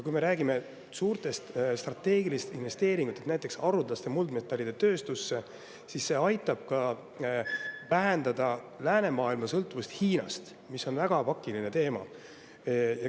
Kui me räägime suurtest strateegilistest investeeringutest näiteks haruldaste muldmetallide tööstusse, siis see aitab ka vähendada läänemaailma sõltuvust Hiinast, mis on väga pakiline teema.